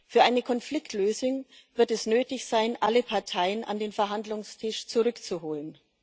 Für eine Konfliktlösung wird es nötig sein, alle Parteien an den Verhandlungstisch zurückzuholen.